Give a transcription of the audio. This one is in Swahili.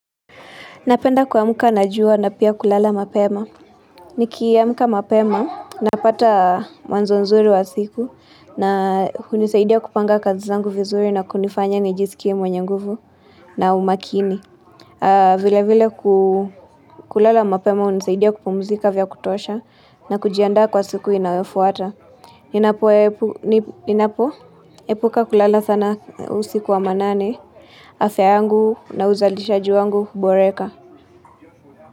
Napenda kuamka na jua na pia kulala mapema. Nikiamka mapema, napata mwanzo nzuri wa siku na kunisaidia kupanga kazi zangu vizuri na kunifanya nijisikie mwenye nguvu na umakini. Vile vile kulala mapema hunisaidia kupumzika vya kutosha na kujiandaa kwa siku inawefuata. Ninapo Ninapoepuka kulala sana usiku wa manane, afya yangu na uzalishaji wangu huboreka.